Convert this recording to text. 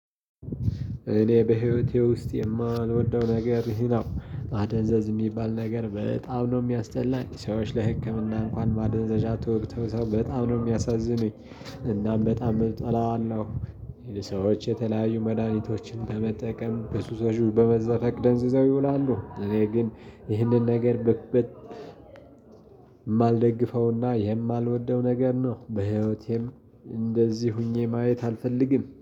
እኔ በህይወቴ ውስጥ የማልወደው ነገር ይህ ነው ማደንዘዝ የሚባል ነገር በጣም ነው ሚያስጠላኝ ሰዎች ለህክምና እንኳን ማደንዘዣ ተወግተው ሰው በጣም ነው የሚያሳዝኑኝ። እናም በጣም እጠላዋለሁ። ሰዎች የተለያዩ መድሃኒቶችን ለመጠቀም በሱ ሰሹ በመዛት አቅደንዝዘው ይውላሉ። እኔ ግን ይህንን ነገር በማልደግፈውና የማልወደው ነገር ነው በህይወቴም እንደዚህ ሆኜ ማየት አልፈልግም